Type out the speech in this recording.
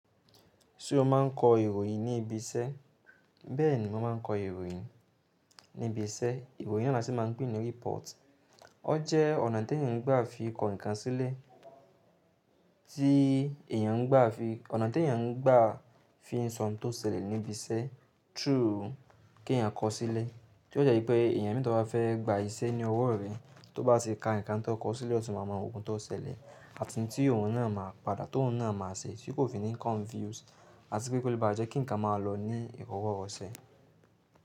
Ṣé o máa ń kọ ìròyìn ní ibi iṣẹ́? Bẹ́ẹ̀ni, mo máa ń kọ ìròyìn ní ibi iṣẹ́. Ìròyìn yii ni wọ́n sì máa ń pè ní report. Ó jẹ́ ọ̀nà tí èèyàn ń gbà fi kọ ǹkan sílẹ̀, tí èèyàn ń gbà fi, ọ̀nà tí èèyàn ń gbà fi ń sọ ohun tó ṣẹlẹ̀ níbi iṣẹ́ through kí ẹ̀yàn kọọ́ sílẹ̀. Tí ó jẹ́ pé èèyàn mẹ́ta bá fẹ́ gbà iṣẹ́ ní ọwọ́ rẹ, tó bá sì ka ǹkan tí ó kọ sílẹ̀, ó sì máa mọ ohun tó ṣẹlẹ̀, àti ihun tí òun náà máa padà, tóun náà máa ṣe, tí kò fi ni confuse àti pé kó lè bá jẹ́ kí ǹkan máa lọ ní iroworose.